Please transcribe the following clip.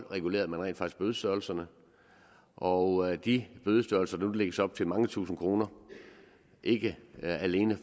regulerede bødestørrelserne og de bødestørrelser der nu lægges op til mange tusind kroner vil ikke alene